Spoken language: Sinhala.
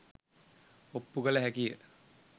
ඔප්පු කල හැකිය.